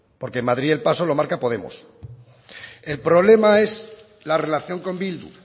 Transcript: porque en madrid el paso lo marca podemos el problema es la relación con bildu